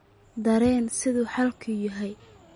taran sida xaalku yahay.